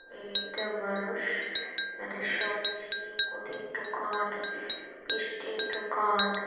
এই একটা মানুষ এটা সবজি মুদির দোকান মিষ্টির দোকান--